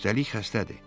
Üstəlik xəstədir.